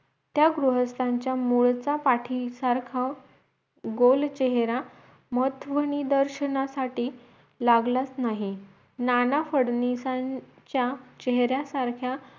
त्या गृहस्थांच्या मूळचा पाठीसारखं गोल चेहरा महत्वदर्शनासाठी लागलाच नाही नाना फडणीसांच्या चेहरा सारख्या